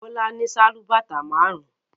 Bọ́lá ní sálúbàtà márùn-ún.